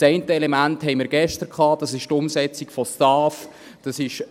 Das eine Element hatten wir gestern: die Umsetzung der Steuerreform und AHV-Finanzierung (STAF).